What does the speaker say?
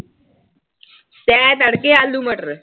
ਤੈਂ ਤੜਕੇ ਆਲੂ ਮਟਰ।